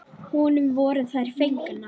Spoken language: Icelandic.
Honum voru fengnar þær.